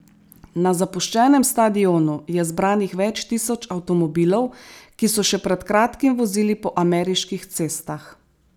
Na zapuščenem stadionu je zbranih več tisoč avtomobilov, ki so še pred kratkim vozili po ameriških cestah.